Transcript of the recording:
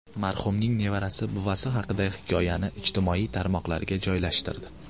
Marhumning nevarasi buvasi haqidagi hikoyani ijtimoiy tarmoqlarga joylashtirdi.